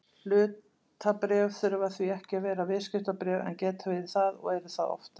Hlutabréf þurfa því ekki að vera viðskiptabréf en geta verið það og eru það oftast.